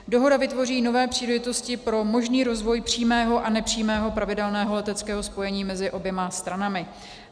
Dohoda vytvoří nové příležitosti pro možný rozvoj přímého a nepřímého pravidelného leteckého spojení mezi oběma stranami.